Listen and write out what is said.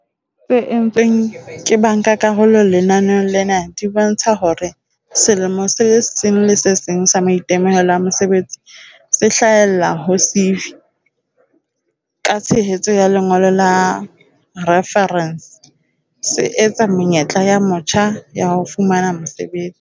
tse entsweng ke bankakarolo lenaneong lena di bontsha hore selemong se le seng sa maitemohelo a mosebetsi se hlahellang ho CV, ka tshehetso ya lengolo la refarense, se eketsa menyetla ya motjha ya ho fumana mosebetsi.